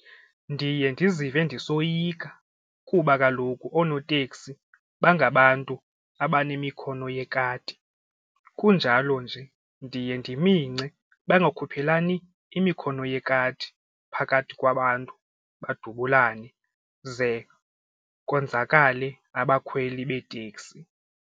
Ndiye ndizive ndisoyika kuba kaloku oonoteksi bangabantu abanemikhono yekati kunjalo nje ndiye ndimisence bangakhuphelani imikhono yekati phakathi kwabantu badubulane ze konzakale abakhweli beeteksi.